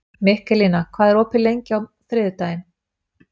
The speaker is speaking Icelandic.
Mikaelína, hvað er opið lengi á þriðjudaginn?